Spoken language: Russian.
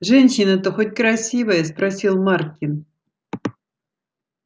женщина-то хоть красивая спросил маркин